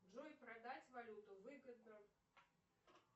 джой продать валюту выгодно